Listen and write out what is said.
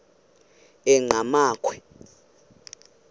enqgamakhwe